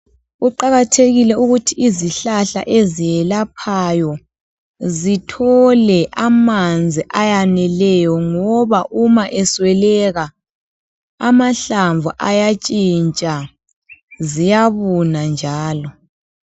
Kuqakathekile ukuthi izihlahla eziyelaphayo zithole amanzi ayaneleyo ngoba uma esweleka amahlamvu ayatshintsha, ziyabuna njalo.